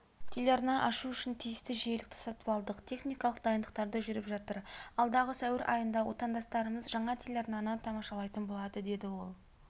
телеарна ашу үшін тиісті жиілікті сатып алдық техникалық дайындықтары жүріп жатыр алдағы сәуір айында отандастарымыз жаңа телеарнаны тамашалайтын болады деді ол